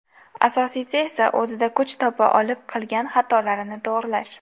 Asosiysi esa o‘zida kuch topa olib qilgan xatolarni to‘g‘rilash.